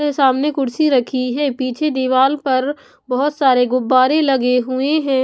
सामने कुर्सी रखी है पीछे दीवाल पर बहुत सारे गुब्बारे लगे हुए हैं।